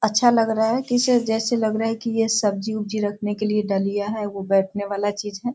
अच्छा लग रहा है किसे जैसे लग रहा है की ये सब्जी उबजी रखने के लिए डलियां है वो बैठना वाला चीज़ है।